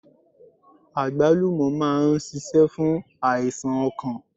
Àgbálùmọ̀ máa n sisé fún àìsàn okàn